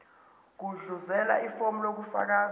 gudluzela ifomu lokufaka